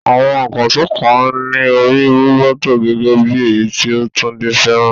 Àwọn ìkànṣó kan ní orí roboto, gẹ́gẹ́ bí èyí tí Tunde fẹ́ràn.